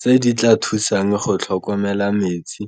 Tse di tla thusang go tlhokomela metsi